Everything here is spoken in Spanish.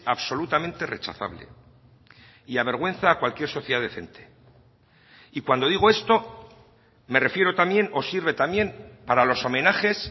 absolutamente rechazable y avergüenza cualquier sociedad decente y cuando digo esto me refiero también o sirve también para los homenajes